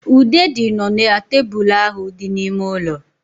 Ude dị nọ na tebụl ahụ dị n'ime ụlọ.